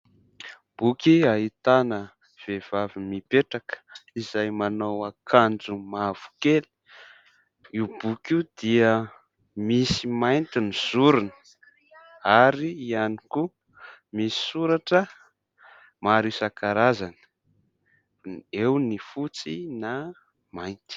Boky ahitana vehivavy mipetraka izay manao akanjo mavokely, io boky io dia misy mainty ny zorony ary ihany koa misy soratra maro isan-karazany, eo ny fotsy na mainty.